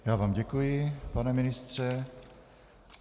Já vám děkuji, pane ministře.